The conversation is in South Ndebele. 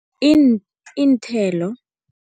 Iinthelo.